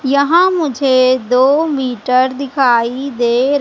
यहां मुझे दो मीटर दिखाई दे--